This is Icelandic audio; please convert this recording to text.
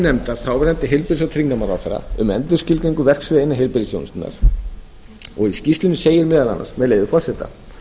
nefndar þáverandi heilbrigðis og tryggingamálaráðherra um endurskilgreiningu verksviða innan heilbrigðisþjónustunnar í skýrslunni segir meðal annars með leyfi forseta